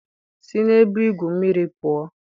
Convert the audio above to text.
Si na ebe igwu mmiri pụọ!